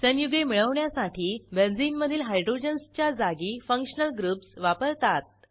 संयुगे मिळवण्यासाठी बेंझिनमधील हायड्रोजन्सच्या जागी फंक्शनल ग्रुप्स वापरतात